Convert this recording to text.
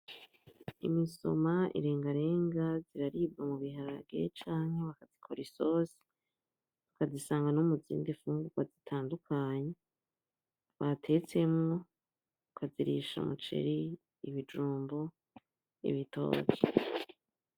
Imisoma; irengarenga, zirararibwa mu biharage canke bakazikora isosi, ukazisanga no muzindi mfungugwa zitandukanye batetsemwo, ukazirisha umuceri; ibijumbu; ibitoke.